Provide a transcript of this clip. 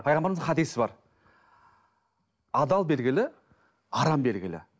пайғамбарымыздың хадисі бар адал белгілі арам белгілі